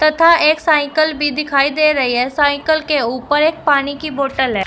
तथा एक साइकल भी दिखाई दे रही है साइकल के ऊपर एक पानी की बॉटल है।